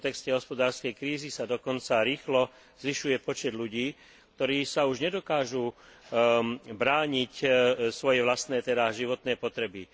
V kontexte hospodárskej krízy sa dokonca rýchlo zvyšuje počet ľudí, ktorí si už nedokážu brániť svoje vlastné, teda životné potreby.